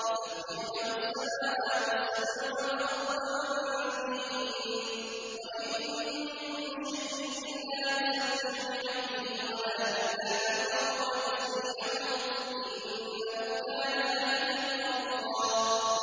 تُسَبِّحُ لَهُ السَّمَاوَاتُ السَّبْعُ وَالْأَرْضُ وَمَن فِيهِنَّ ۚ وَإِن مِّن شَيْءٍ إِلَّا يُسَبِّحُ بِحَمْدِهِ وَلَٰكِن لَّا تَفْقَهُونَ تَسْبِيحَهُمْ ۗ إِنَّهُ كَانَ حَلِيمًا غَفُورًا